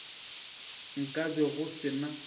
nka be go se na